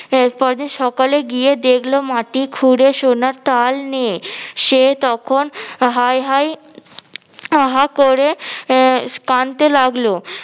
পরদিন সকালে গিয়ে দেখলো মাটি খুঁড়ে সোনার তাল নেই, সে তখন হায় হায় হা হা করে আহ কানতে লাগলো